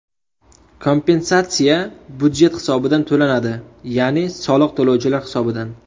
Kompensatsiya budjet hisobidan to‘lanadi, ya’ni soliq to‘lovchilar hisobidan.